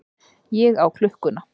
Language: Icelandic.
Ég á klukkuna.